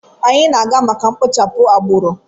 Anyị na-aga maka mkpochapụ agbụrụ.